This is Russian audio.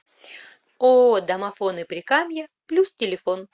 ооо домофоны прикамья плюс телефон